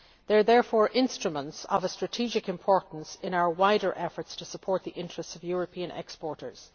They are therefore instruments of strategic importance in our wider efforts to support the interests of European exporters.